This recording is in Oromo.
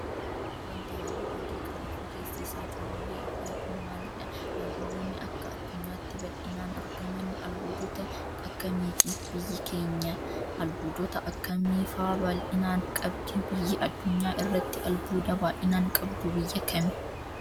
Wanti haalluu adii qabuu fi keessi isaa cululuqee ifee kun maalidh? Albuudonni akka addunyaatti bal'inaan argaman albuudotta akkamiiti? Biyyi keenya albuudota akkamii faa bal'inaan qabdi? Biyyi addunyaa irratti albuuda baay'inaan qabdu biyya kami?